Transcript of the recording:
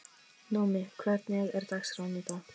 Númi, hvernig er dagskráin í dag?